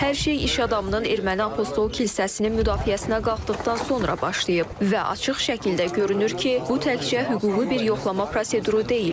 Hər şey iş adamının erməni apostol kilsəsinin müdafiəsinə qalxdıqdan sonra başlayıb və açıq şəkildə görünür ki, bu təkcə hüquqi bir yoxlama proseduru deyil.